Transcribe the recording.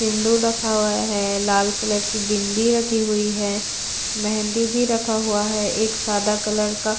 सिंदूर रखा हुआ है लाल कलर की बिंदी भी रखी हुई है मेहदी भी रखा हुआ है एक सादा कलर का--